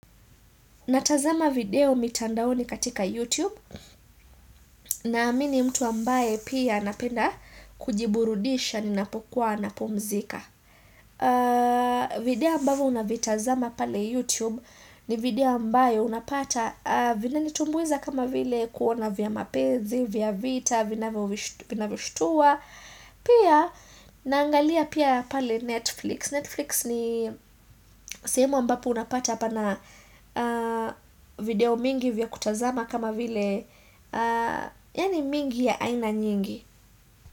Natazama video mitandaoni katika YouTube naamini mtu ambaye pia napenda kujiburudisha, ninapokuwa, napomzika. Video ambaye unavitazama pale YouTube ni video ambaye unapata vina nitumbuiza kama vile kuona vya mapezi, vya vita, vina vishutua. Pia naangalia pia pale Netflix. Netflix ni sehemo ambapo unapata pana video mingi vya kutazama kama vile yani mingi ya aina nyingi.